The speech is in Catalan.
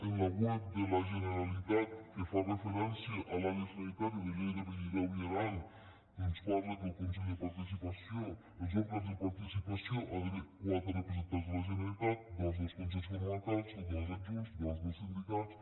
en la web de la generalitat que fa referència a l’àrea sanitària de lleida pirineu i aran es parla que als òrgans de participació hi ha d’haver quatre representants de la generalitat dos dels consells comarcals dos adjunts dos dels sindicats